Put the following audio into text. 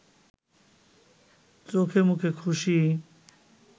চোখেমুখে খুশি